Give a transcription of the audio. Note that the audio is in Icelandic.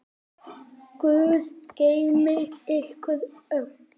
Guð geymi ykkur öll.